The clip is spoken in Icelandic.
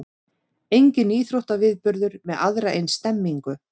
Enginn íþróttaviðburður með aðra eins stemningu